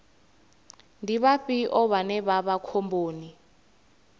ndi vhafhio vhane vha vha khomboni